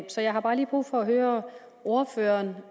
så jeg har bare lige brug for at høre ordføreren